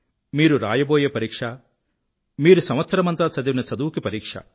మీరు రాయబోయే పరీక్ష మీరు సంవత్సరమంతా చదివిన చదువుకి పరీక్ష